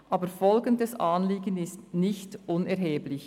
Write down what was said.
Aber folgendes Anliegen ist nicht unerheblich;